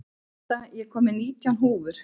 Ida, ég kom með nítján húfur!